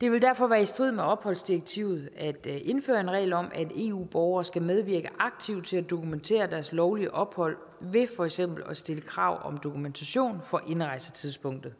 det vil derfor være i strid med opholdsdirektivet at indføre en regel om at eu borgere skal medvirke aktivt til at dokumentere deres lovlige ophold ved for eksempel at stille krav om dokumentation for indrejsetidspunktet